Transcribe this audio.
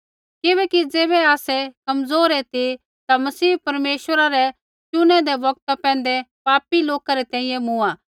किबैकि ज़ैबै आसै कमज़ोर ऐ ती ता मसीह परमेश्वरा रै चुनैदै बौगता पैंधै पापी लोका री तैंईंयैं मूँआ